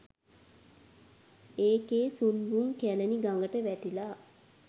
ඒකෙ සුන්බුන් කැලණි ගඟට වැටිලා .